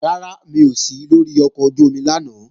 Rárá, mi ò sí lóri ọkọ̀ ojú-omi lánàá